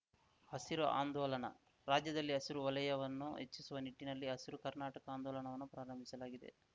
ಹಸಿರು ಆಂದೋಲನ ರಾಜ್ಯದಲ್ಲಿ ಹಸಿರು ವಲಯವನ್ನು ಹೆಚ್ಚಿಸುವ ನಿಟ್ಟಿನಲ್ಲಿ ಹಸಿರು ಕರ್ನಾಟಕ ಆಂದೋಲನವನ್ನು ಪ್ರಾರಂಭಿಸಲಾಗಿದೆ